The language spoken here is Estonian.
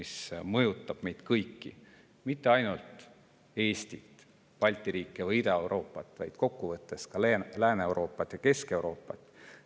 See mõjutab meid kõiki, mitte ainult Eestit ja Balti riike või Ida-Euroopat, vaid kokkuvõttes ka Lääne-Euroopat ja Kesk-Euroopat.